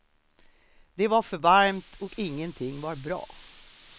Det var för varmt och ingenting var bra.